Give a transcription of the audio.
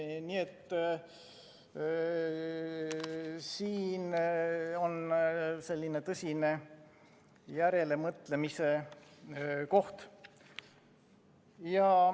Nii et siin on tõsine järelemõtlemise koht.